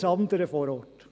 – Alles andere vor Ort.